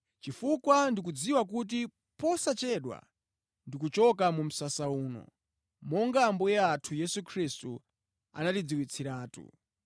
chifukwa ndikudziwa kuti posachedwapa ndikuchoka mu msasa uno, monga Ambuye athu Yesu Khristu anandidziwitsiratu.